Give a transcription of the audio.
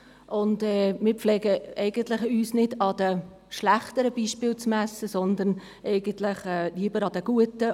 Eigentlich pflegen wir nicht, uns an den schlechteren Beispielen zu messen, sondern lieber an den guten.